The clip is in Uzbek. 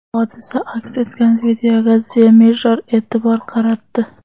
Hodisa aks etgan videoga The Mirror e’tibor qaratdi .